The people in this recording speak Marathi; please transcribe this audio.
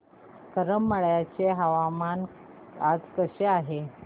करमाळ्याचे हवामान आज कसे आहे